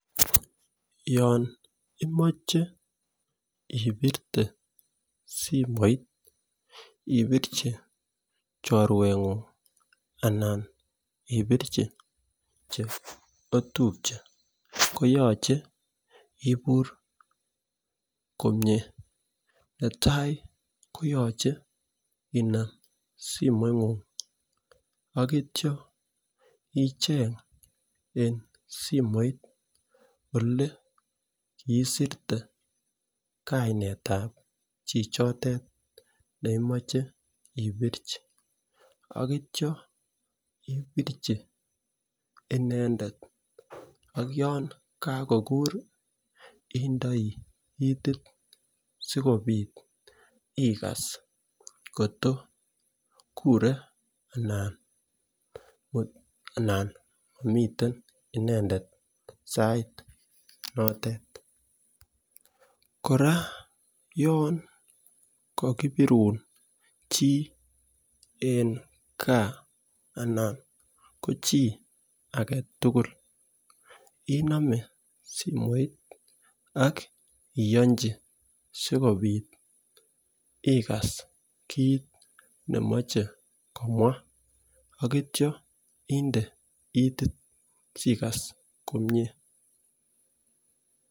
Yoon imoche ibirte simoit ibirchi chorweng'ung anan ibirchi cheotupche koyoche ibur komyee, netai koyoche inaam simoing'ung ak kitya icheng' en simoit olekiisirte kainet ab chichotet neimoche ibirchi, ak kitya ibirchi inendet, ak yoon kakokur indoi itit sikobit ikas kotko kure anan momiten inendet en sait notet, kora yon kokibirun chii en gaa anan ko chii agetugul inome ak iyonchi sikobit igas kiit nemoche komwaa ak kityo indee itit sikobit igas komyee,